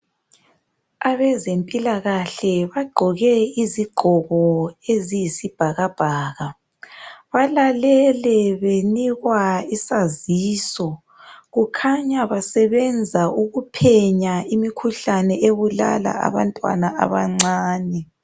Abezempilakahle bagqoke izigqoko eziyisibhakabhaka balalele benikwa isaziso kukhanya basebenza ukuphenya imikhuhlane ebulala abantwana abancane.